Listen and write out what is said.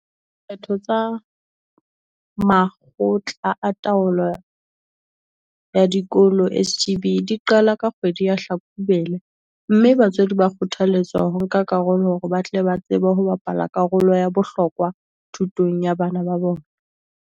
Dikgetho tsa Makgotla a Taolo ya Diko lo, SGB, di qala ka kgwedi ya Hlakubele mme batswadi ba kgothaletswa ho nka karolo hore ba tle ba tsebe ho bapala karolo ya bohlokwa thutong ya bana ba bona.